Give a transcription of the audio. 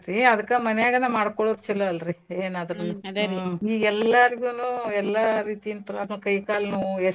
ಏ ಅದ್ಕ ಮನ್ಯಾಗನ ಮಾಡ್ಕೊಳೋದ್ ಚೊಲೋ ಅಲ್ರೀ ಎನಾದ್ರುನು ನೀವ್ ಎಲ್ಲರ್ಗೂನು ಎಲ್ಲ ರೀತಿಯಿಂತ್ರನು ಕೈ ಕಾಲ್ ನೋವು.